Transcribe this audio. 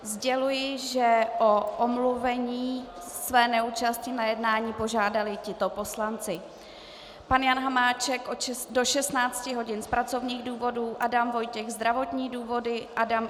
Sděluji, že o omluvení své neúčasti na jednání požádali tito poslanci: pan Jan Hamáček do 16 hodin z pracovních důvodů, Adam Vojtěch zdravotní důvody.